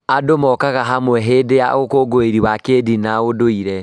Andũ mokaga hamwe hĩndĩ ya ũkũngũĩri wa kĩĩndini na ũndũire.